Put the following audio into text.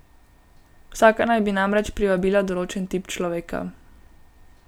Vsaka naj bi namreč privabila določen tip človeka.